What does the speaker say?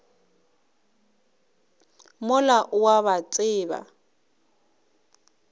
mola o a ba tseba